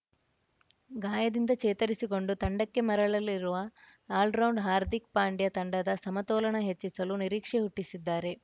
ಗಾಯದಿಂದ ಚೇತರಿಸಿಕೊಂಡು ತಂಡಕ್ಕೆ ಮರಳಲಿರುವ ಆಲ್ರೌಂಡ್ ಹಾರ್ದಿಕ್‌ ಪಾಂಡ್ಯ ತಂಡದ ಸಮತೋಲನ ಹೆಚ್ಚಿಸಲು ನಿರೀಕ್ಷೆ ಹುಟ್ಟಿಸಿದ್ದಾರೆ